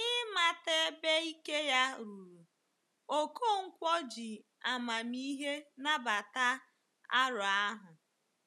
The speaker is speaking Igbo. N’ịmata ebe ike ya ruru, Okonkwo ji amamihe nabata aro ahụ.